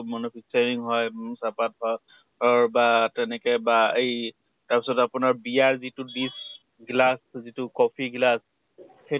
manufacturing হয়, চাহ পাত হয় । আ বা তেনেকে বা এই তাৰপিছত আপোনাৰ বিয়া যিটো dish, গিলাছ যিটো coffee গিলাছ সে